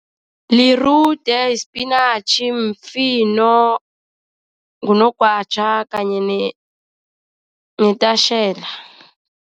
Lirude, yisipinatjhi, mfino, ngunogwatjha kanye netatjhela.